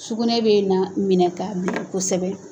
Sukunɛ bɛ na minɛ k'a kosɛbɛ.